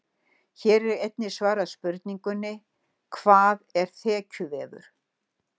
Hér er einnig svarað spurningunni: Hvað er þekjuvefur?